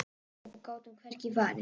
Og gátum hvergi farið.